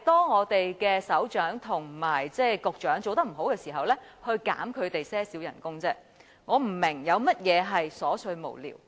我們的首長和局長做得不好，我們只是要求削減他們少許薪酬而已，我不明白有甚麼是瑣碎無聊。